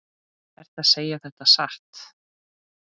Ertu að segja þetta satt?